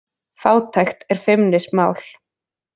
Fátækt er feimnismál